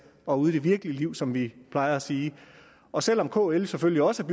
og ude i det virkelige liv som vi plejer at sige og selv om kl selvfølgelig også